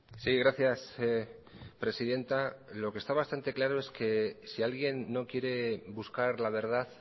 sí gracias presidenta lo que está bastante claro es que si alguien no quiere buscar la verdad